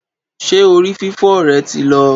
Ṣé orí fífọ́ rẹ ti lọ